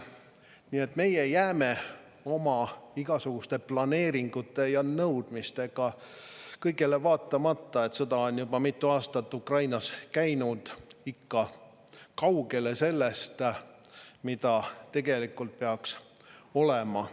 Nii et meie jääme oma igasuguste planeeringute ja nõudmistega sellele vaatamata, et sõda on juba mitu aastat Ukrainas käinud, ikka kaugele sellest, mis tegelikult peaks olema.